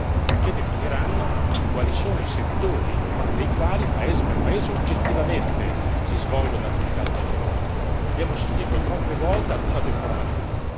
E anche le rappresentanze sociali avranno un ruolo, perché definiranno quali sono i settori nei quali, paese per paese, oggettivamente, si svolgono attività stagionali.